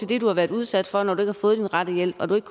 det du været udsat for når du ikke har fået den rette hjælp og du ikke